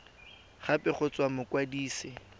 gape go tswa go mokwadise